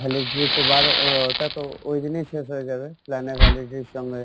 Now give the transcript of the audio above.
validity ইর উপর ওটাতো ওইদিনেই শেষ হয়ে যাবে plan এর validity এর সঙ্গে